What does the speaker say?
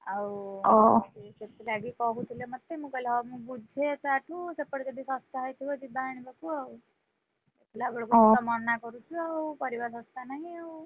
ଆଉ ସେଥି ଲାଗି କହୁଥିଲେ ମତେ, ମୁଁ କହିଲି ହଉ ମୁଁ ବୁଝେ ତା ଠୁ ସେପଟେ ଯଦି ଶସ୍ତା ହେଇଥିବ ଯିବା ଆଣିବାକୁ ଆଉ, ଦେଖିଲା ବେଳକୁ ତୁ ତ ମନା କରୁଚୁ ଆଉପରିବା ଶସ୍ତା ନାହିଁ ଆଉ।